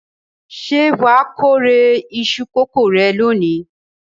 Ṣé wà á kórè iṣu kòkó rẹ lónìí?